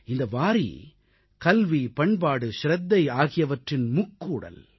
இந்த வாரீ கல்வி பண்பாடு சிரத்தை ஆகியவற்றின் முக்கூடல்